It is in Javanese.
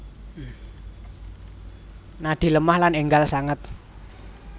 Nadi lemah lan enggal sanget